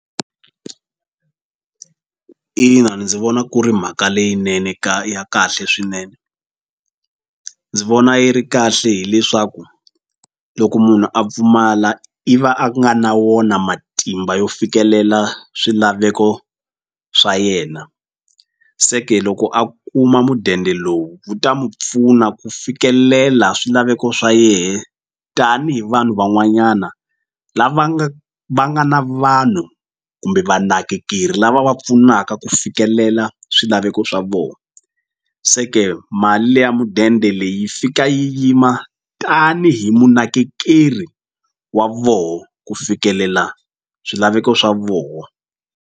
Ina ndzi vona ku ri mhaka leyinene ka ya kahle swinene ndzi vona yi ri kahle hileswaku loko munhu a pfumala i va a nga na wona matimba yo fikelela swilaveko swa yena se ke loko a kuma mudende lowu wu ta mu pfuna ku fikelela swilaveko swa yehe tanihi vanhu van'wanyana lava nga va nga na vanhu kumbe vanakekeri lava va pfunaka ku fikelela swilaveko swa vona se ke mali leya mudende leyi fika yi yima tanihi munakekeri wa voho ku fikelela swilaveko swa voho.